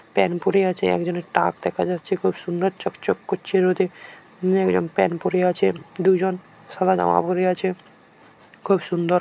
Pant পড়ে আছে একজনের টাক দেখা যাচ্ছে খুব সুন্দর চকচক করছে রোদে একজন প্যান্ট পড়ে আছেন দুইজন সাদা জামা পড়ে আছে খুব সুন্দর।